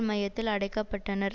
மையத்தில் அடைக்க பட்டனர்